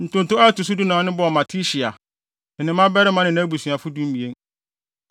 Ntonto a ɛto so dunan no bɔɔ Matitia, ne ne mmabarima ne nʼabusuafo (12)